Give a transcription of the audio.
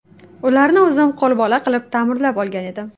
Ularni o‘zim qo‘lbola qilib ta’mirlab olgandim.